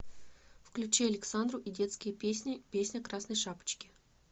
включи александру и детские песни песня красной шапочки